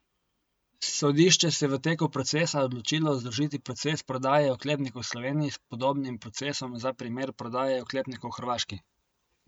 Sodišče se je v teku procesa odločilo združiti proces prodaje oklepnikov Sloveniji s podobnim procesom za primer prodaje oklepnikov Hrvaški.